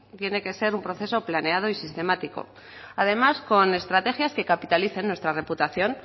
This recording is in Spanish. tiene que ser un proceso planeados y sistemático además con estrategias que capitalicen nuestra reputación